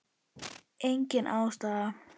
Engin ástæða?